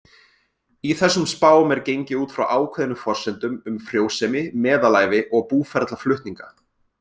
Í þessum spám er gengið út frá ákveðnum forsendum um frjósemi, meðalævi og búferlaflutninga.